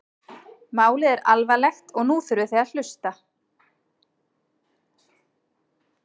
Málið er alvarlegt og nú þurfið þið að hlusta?